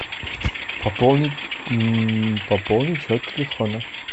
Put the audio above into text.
пополнить пополнить счет телефона